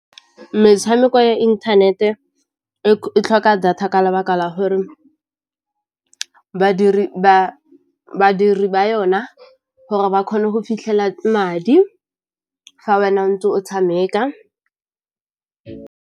Metshameko ya inthanete e tlhoka data ka lebaka la gore badiri ba yona gore ba kgone go fitlhela madi fa wena o ntse o tshameka.